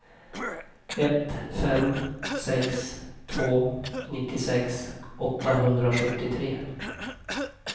ett fem sex två nittiosex åttahundrasjuttiotre